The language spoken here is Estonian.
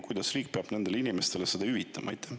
Kuidas riik selle neile hüvitab?